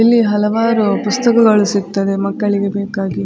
ಇಲ್ಲಿ ಹಲವಾರು ಪುಸ್ತಕಗಳು ಸಿಗ್ತದೆ ಮಕ್ಕಳಿಗೆ ಬೇಕಾಗಿ.